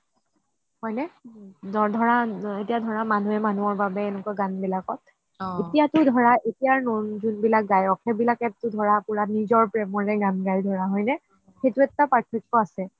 হয়নে এতিয়া ধৰা মানুহে মানুহৰ বাবে এনেকুৱা গান বিলাকত এতিয়া টো ধৰা এতিয়াৰ যোন বিলাক গায়ক সেইবিলাকে ধৰা নিজৰ প্ৰেমৰৰে গান গায় সেইটো এটা পাৰ্থকক আছে